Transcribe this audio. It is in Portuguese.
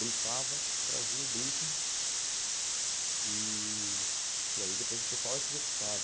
Briefava, trazia o briefing e... e aí depois o pessoal executava.